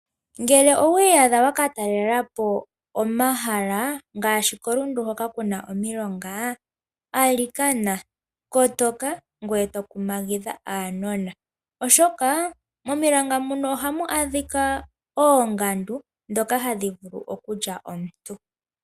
Ngele owii yadha wakatalelapo omahala ngaashi koRundu hoka kuna omilonga, kotoka ngweye tokumagidha uunona, oshoka momilonga ohamu adhika oongandu ndhoka hadhi vulu okulya omuntu.